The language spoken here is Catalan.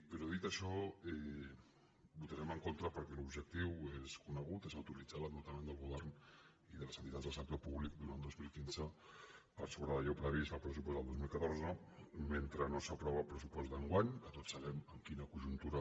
però dit això hi votarem en contra perquè l’objectiu és conegut és autoritzar l’endeutament del govern i de les entitats del sector públic durant dos mil quinze per sobre d’allò previst al pressupost del dos mil catorze mentre no s’apro·va el pressupost d’enguany que tots sabem en quina conjuntura